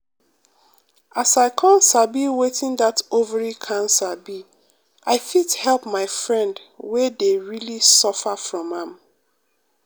as i come sabi wetin that ovary cancer be i fit help my friend wey dey really suffer from am.